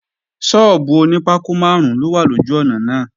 Sọ́ọ́bù oní pákó máàrún ló wà lójú ọ̀nà náà